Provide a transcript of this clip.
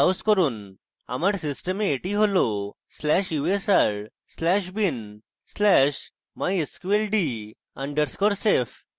আমার system এটি হল/usr/bin/mysqld _ safe